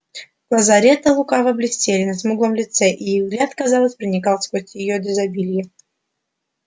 глаза ретта лукаво блестели на смуглом лице и их взгляд казалось проникал сквозь её дезабилье